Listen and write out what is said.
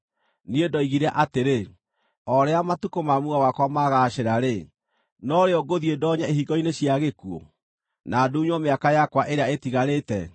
Niĩ ndoigire atĩrĩ, “O rĩrĩa matukũ ma muoyo wakwa magaacĩra-rĩ, no rĩo ngũthiĩ ndonye ihingo-inĩ cia gĩkuũ, na ndunywo mĩaka yakwa ĩrĩa ĩtigarĩte?”